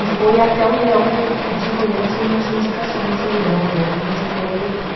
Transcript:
E foi até o Leão per pedir para o Leão se ele não tinha indicações, e o Leão Lobo me indicou e eu fui.